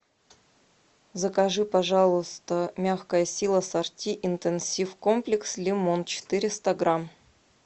закажи пожалуйста мягкая сила сорти интенсив комплекс лимон четыреста грамм